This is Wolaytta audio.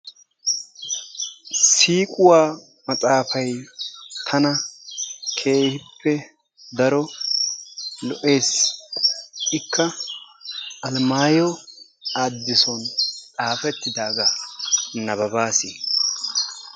Siiquwa maxaafay tana keehippe daro lo'ees. Ikka almayo adisun xaafettidaagaa nabbabbaasi.